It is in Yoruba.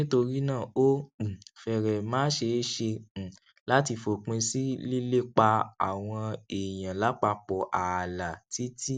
nítorí náà ó um férèé má ṣeé ṣe um láti fòpin sí lílépa àwọn èèyàn lápapò ààlà títí